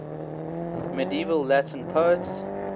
medieval latin poets